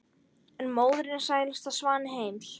en móðirin sælasti svanni heims